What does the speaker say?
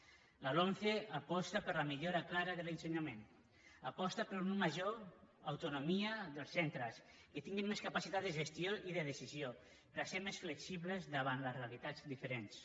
la lomce aposta per la millora clara de l’ensenyament aposta per una major autonomia dels centres que tinguin més capacitat de gestió i de decisió de ser més flexibles davant les realitats diferents